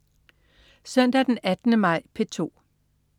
Søndag den 18. maj - P2: